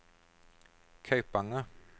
Kaupanger